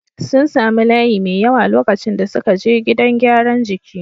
Sun sami layi mai yawa lokacin da suke je gidan gyaran jiki.